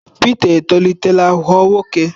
Pita etolitela ghọọ nwoke.